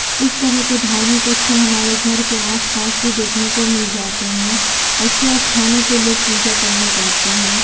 इस तरह कि ये धार्मिक स्थल हमारे घर आस-पास भी देखने को मिल जाते हैं ऐसे स्थानों पे लोग पूजा करने जाते हैं।